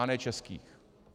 A ne českých.